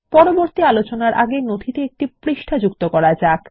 পরবর্তী আলোচনার আগে নথিতে একটি নতুন পৃষ্ঠা যুক্ত করা যাক